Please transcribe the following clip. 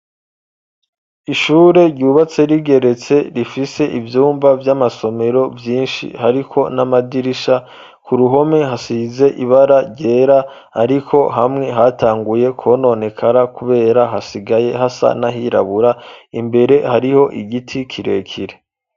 Ishure ryubatse rigeretse rifise ivyumba vy'amasomero vyinshi hariko n'amadirisha ku ruhome hasize ibara ryera ariko hamwe hatanguye kwononekara kubera hasigaye hasa n'ahirabura imbere hariho igiti kirekire.